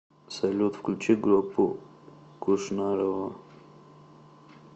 салют включи группу кушнарова